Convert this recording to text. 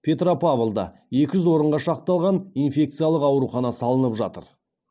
петропавлда екі жүз орынға шақталған инфекциялық аурухана салынып жатыр